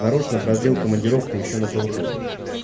нарочно продлил командировку ещё на полгода